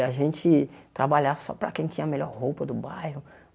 E a gente trabalhava só para quem tinha a melhor roupa do bairro.